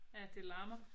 Ja det larmer